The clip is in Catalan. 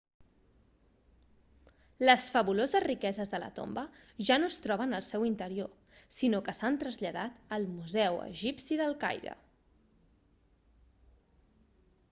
les fabuloses riqueses de la tomba ja no es troben al seu interior sinó que s'han traslladat al museu egipci del caire